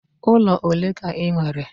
Ụlọ ole ka ị nwere?